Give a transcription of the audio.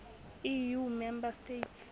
eu member states